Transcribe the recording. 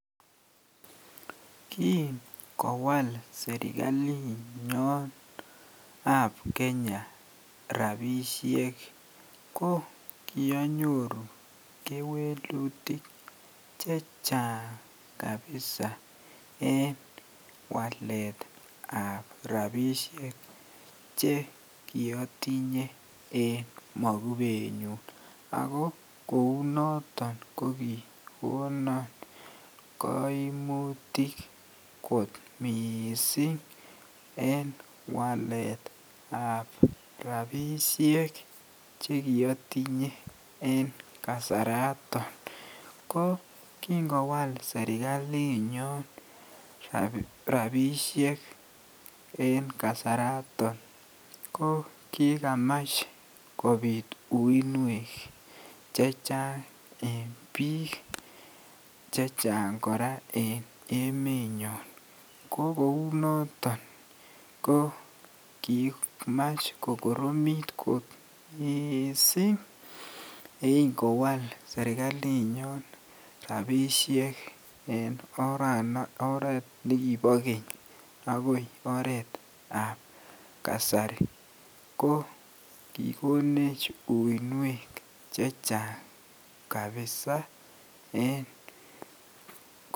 KIngowal serikalinyon ab kenya kokianyoru kewelutik chechang kabisa en waletab rapisiek chekiotinye en mokubenyun, ako kou noton kokikonon koimutik miissing en waletab rapisiek chekiotinye en kasarato, ko kingowala serikalinyon rapisiek en kasarato ko kikamach kopit uinwek chechang en biik chechang, kora en emonyon ko kouu noton koo kimach kokoromit kot miissing yengowal serikalinyon rapisiek en oret nekibo keny akoi oretab kasari ko kikonech uinwek chechang kabsa en.